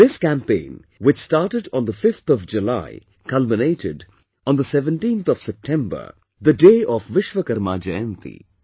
This campaign, which started on the 5th of July culminated on the 17thof September, the day of Vishwakarma Jayanti